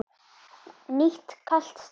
Nýtt kalt stríð?